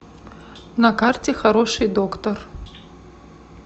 на карте хороший доктор